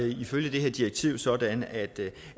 ifølge det her direktiv sådan at